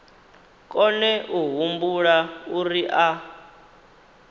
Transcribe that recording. kone a humbula uri a